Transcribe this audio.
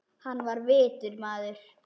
Hann var vitur maður.